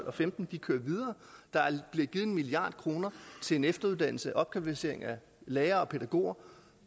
og femten de kører videre der er blevet givet en milliard kroner til efteruddannelse til opkvalificering af lærere og pædagoger